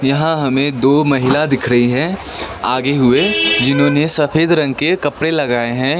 यहां हमें दो महिला दिख रही है आगे हुए जिन्होंने सफेद रंग के कपड़े लगाए हैं।